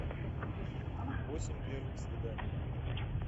восемь первых свиданий